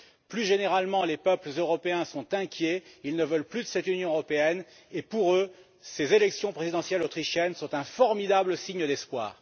Plus généralement, les peuples européens sont inquiets, ils ne veulent plus de cette Union européenne et, pour eux, ces élections présidentielles autrichiennes sont un formidable signe d'espoir.